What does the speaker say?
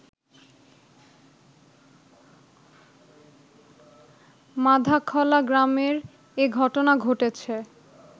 মাধাখলা গ্রামের এ ঘটনা ঘটেছে